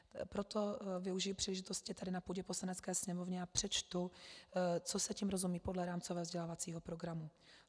Proto využiji příležitosti tady na půdě Poslanecké sněmovny a přečtu, co se tím rozumí podle rámcového vzdělávacího programu.